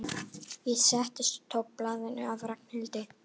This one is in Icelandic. Ég settist og tók við blaðinu af Ragnhildi.